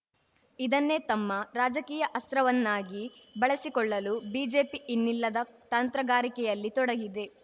ಇದನ್ನೇ ತಮ್ಮ ರಾಜಕೀಯ ಅಸ್ತ್ರವನ್ನಾಗಿ ಬಳಸಿಕೊಳ್ಳಲು ಬಿಜೆಪಿ ಇನ್ನಿಲ್ಲದ ತಂತ್ರಗಾರಿಕೆಯಲ್ಲಿ ತೊಡಗಿದೆ